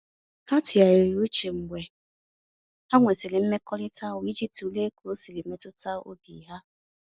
Ha tụgharịrị uche mgbe ha nwesịrị mmekọrịta ahụ iji tụlee ka o siri metụta obi ha.